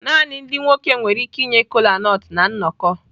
Naanị ndị nwoke nwere ike inye kolanut na nnọkọ.